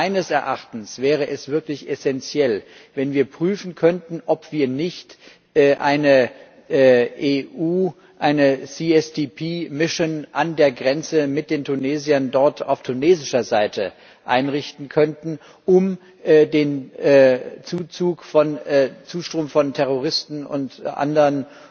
Meines Erachtens wäre es wirklich essenziell, wenn wir prüfen könnten, ob wir nicht eine EU GSVP Mission an der Grenze mit den Tunesiern dort auf tunesischer Seite einrichten könnten, um den Zustrom von Terroristen und anderen